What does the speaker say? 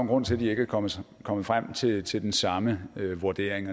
grund til at vi ikke kommet kommet frem til til den samme vurdering